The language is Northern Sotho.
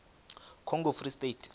congo free state